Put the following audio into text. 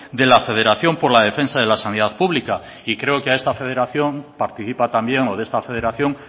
de la federación por la defensa de la sanidad pública y creo que de esta federación participa también o de esta federación